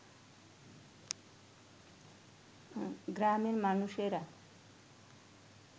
গ্রামের মানুষেরা